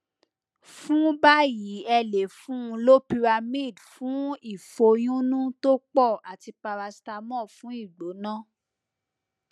fún báyìí ẹ lè fún un loperamide fún ìfòyúnú tó pọ àti paracetamol fún igbona